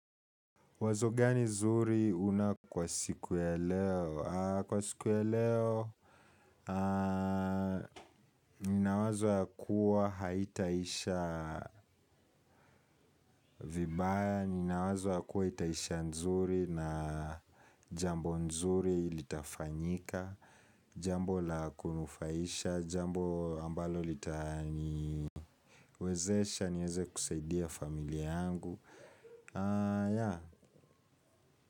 Wazo gani zuri una kwa siku ya leo? Kwa siku ya leo, ninawazo ya kuwa haitaisha. Vibaya, ninawazo ya kuwa itaisha nzuri na. Jambo nzuri litafanyika, jambo la kunufaisha, jambo ambalo litaniwezesha, nieze kusaidia familia yangu.